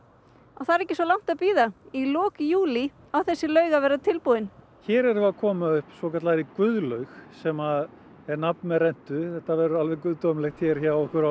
það er ekki svo langt að bíða í lok júlí á þessi laug að vera tilbúin hér erum við að koma upp svokallaðri Guðlaug sem ber nafn með rentu þetta verður alveg guðdómlegt hjá okkur á